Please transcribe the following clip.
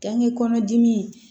Kange kɔnɔdimi